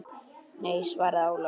Nei, svaraði Ólafur.